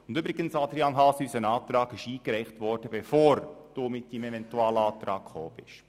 Und übrigens, Adrian Haas: Unser Antrag wurde eingereicht, bevor Sie Ihren Eventualantrag gestellt haben.